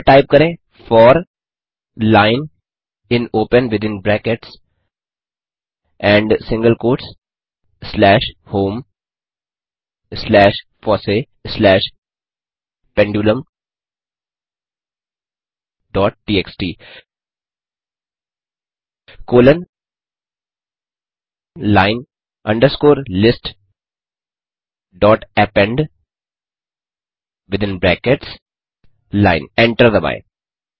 अतः टाइप करें four line in open within brackets and single quotes slash home slash fossee slash pendulum dot TXT colon line underscore list dot append within brackets line enter दबाएँ